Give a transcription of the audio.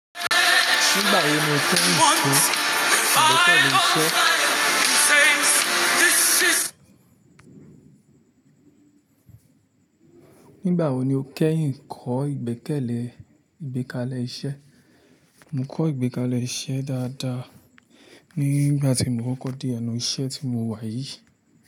Nígbà wo ni o kẹ́yin kọ́ ìgbékalẹ̀ iṣẹ́? Mo kọ́ ìgbékalẹ̀ iṣẹ́ dáadáa nígbà tí mo kọ́kọ́ dé ẹnu iṣẹ́ tí mo wà yìí.